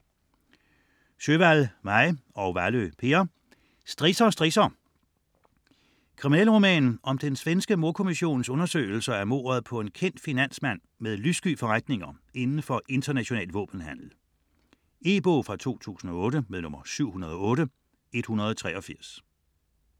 Sjöwall, Maj: Strisser, strisser - Kriminalroman om den svenske mordkommissions undersøgelser af mordet på en kendt finansmand med lyssky forretninger inden for international våbenhandel. E-bog 708183 2008.